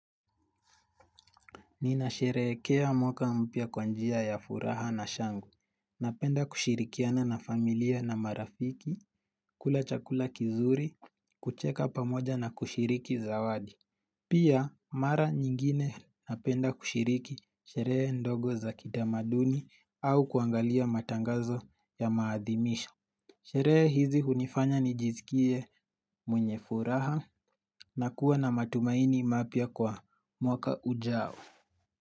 Ninashereekea mwaka mpya kwa njia ya furaha na shangwe. Napenda kushirikiana na familia na marafiki, kula chakula kizuri, kucheka pamoja na kushiriki zawadi. Pia, mara nyingine napenda kushiriki sheree ndogo za kitamaduni au kuangalia matangazo ya maadhimisho. Sheree hizi hunifanya nijiskie mwenye furaha na kuwa na matumaini mapya kwa mwaka ujao.